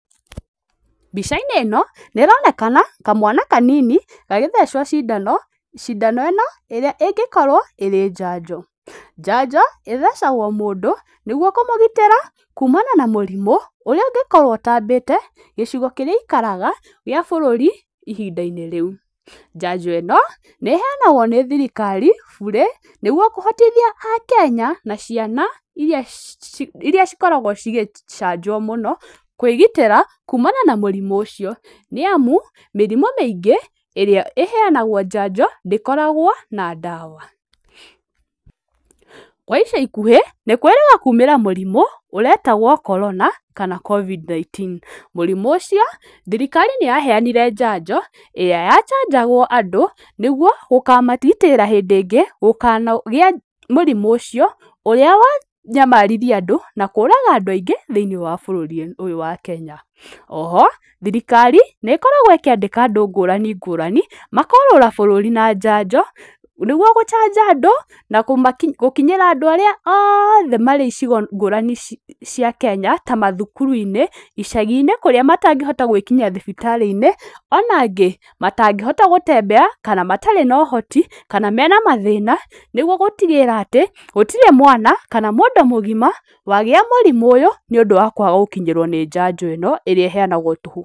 Mbica-inĩ ĩno nĩ ironekana kamwana kanini gagĩthecwo cindano, cindano ĩno ĩrĩa ĩngĩkorwo ĩrĩ njanjo. Njanjo ĩthecagwo mũndũ nĩgũo kũmũgitĩra kũmana na mũrimũ ũrĩa ũngĩkorwo ũtambĩte gicigo kĩrĩa aikaraga gĩa bũrũri ihinda-inĩ rĩu. Njanjo ĩno nĩ ĩheanagwo nĩ thirikari bũrĩ nĩgũo kũhotithia akenya na ciana iria cikoragwo cigĩcanjwo mũno kũĩgitĩra kumana na mũrimũ ũcio nĩamu mĩrimũ mĩĩngĩ ĩrĩa ĩheanagwo njanjo ndĩkoragwo na ndawa. Kwa ica ikuhĩ nĩkwĩrĩga kumĩra mũrimũ ũretagwo Corona kana Covid-19. Mũrimũ ũcio thirikari nĩyaheanire njanjo ĩrĩa yachanjagwo andũ nĩgwo gũkamagitĩra hĩndĩ ĩngĩ gũkanagĩa mũrimũ ũcio ũrĩa wanayamaririe andũ na kũraga andũ aingĩ , thĩĩínĩe wa bũrũri ũyũ wa Kenya. Oho thirikari nĩĩkoragwo ĩkĩandĩka andũ ngũrani ngũrani makorũra bũrũri na njanjo nĩgũo gũchanja andũ na gũkinyĩra andũ arĩa othe marĩ icigo ngũrani ngũrani cia kenya ta mathuku-inĩ, icagi-inĩ kũria matangĩhota gũĩkinyia thibitari-inĩ ona angĩ matangĩhota gũtembeya kana matarĩ na ũhoti kana mena mathĩna nĩgũo gũtigĩrĩra atĩ gũtirĩ mwana kana mũndũ mũgima wagĩa mũrimũ ũyũ nĩuñdũ wa kwaga gũkinyĩrwo nĩ njanjo ĩno ĩrĩa ĩheanagwo tũhũ.